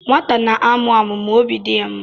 Nwata na-amụ amụ ma obi dị ya mma.